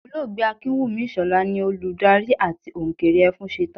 Olóògbé Akínwùmí Ìṣọ̀lá ni olùdarí àti òǹkeré Ẹfúnṣetán